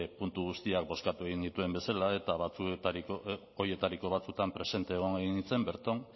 puntu guztiak bozkatu genituen bezala eta horietariko batzuetan presente egon nintzen berton